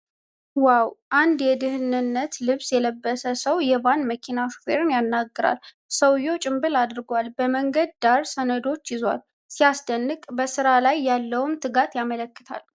ወይኔ! አንድ የደህንነት ልብስ የለበሰ ሰው የቫን መኪና ሹፌርን ያነጋግራል ። ሰውየው ጭምብል አድርጓል፤ በመንገድ ዳር ሰነዶችን ይዟል። ሲያስደንቅ! በሥራ ላይ ያለውን ትጋት ያመለክታል።